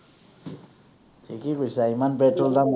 ঠিকেই কৈছা, ইমান পেট্ৰলৰ দাম।